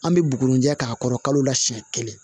An bɛ bugurinjɛ k'a kɔrɔ kalo la siɲɛ kelen